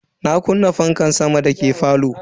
Na kunna fankan sama dake falo.